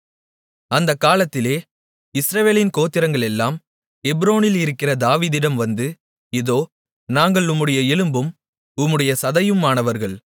அந்தக்காலத்திலே இஸ்ரவேலின் கோத்திரங்களெல்லாம் எப்ரோனில் இருக்கிற தாவீதிடம் வந்து இதோ நாங்கள் உம்முடைய எலும்பும் உம்முடைய சதையுமானவர்கள்